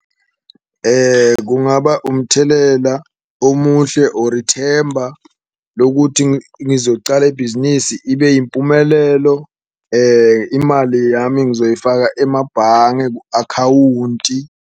Kungaba umthelela omuhle or ithemba lokuthi ngizocala ibhizinisi ibe impumelelo, imali yami ngizoyifaka emabhange ku-akhawunti.